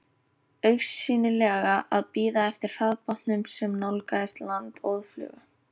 Augsýnilega að bíða eftir hraðbátnum sem nálgaðist land óðfluga.